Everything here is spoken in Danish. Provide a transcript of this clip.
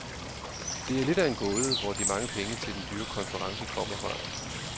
Det er lidt af en gåde, hvor de mange penge til den dyre konference kommer fra.